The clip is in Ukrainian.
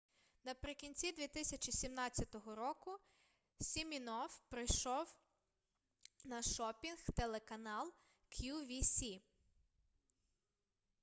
наприкінці 2017 року сімінофф прийшов на шопінг-телеканал qvc